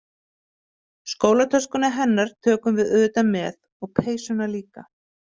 Skólatöskuna hennar tökum við auðvitað með og peysuna líka.